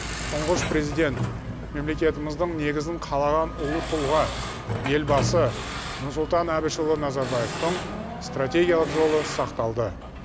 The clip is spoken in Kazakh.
тұңғыш президент мемлекетіміздің негізін қалаған ұлы тұлға елбасы нұрсұлтан әбішұлы назарбаевтың стратегиялық жолы сақталды